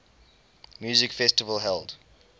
music festival held